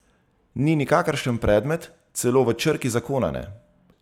Ni nikakršen predmet, celo v črki zakona ne.